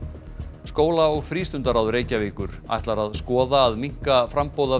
skóla og Reykjavíkur ætlar að skoða að minnka framboð af